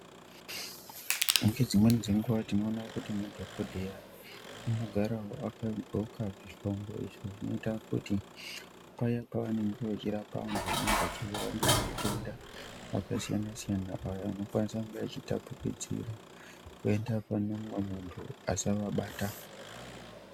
Ngedzimweni dzenguwa tinoona kuti madhokodheya vanogarawo vakandxoka zvihlongo izvo zvinoita Kuti paya pavanenge vechirapa vantu vanorwara ngematenda akasiyana siyana Aya anokwanisa kunge echitapukidzira kuenda pane umwe muntu asavabata.